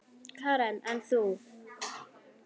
Karen: En þú?